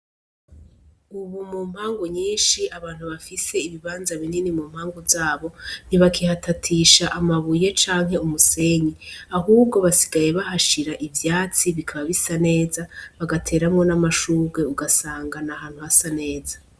Ubu mu mpangu nyinshi abantu bafise ibibanza binini mu mpangu zabo ntibakihatatisha amabuye canke umusenyi ahubwo basigaye bahashira ivyatsi bikaba bisa neza bagateramwo n'amashurwe ugasanga nahantu hasa neza.